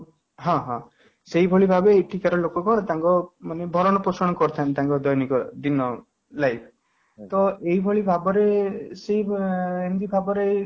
ହଁ, ହଁ ସେଇ ଭଳି ଭାବରେ ଏଠିକାର ଲୋକ ତାଙ୍କର ଭରଣ ପୋଷଣ କରିଥାନ୍ତି ତାଙ୍କ ଦୈନିକ ଦିନ life ତ ଏହି ଭଳି ଭାବରେ ଅଂ